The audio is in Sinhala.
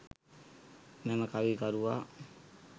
මෙම කවි කරුවා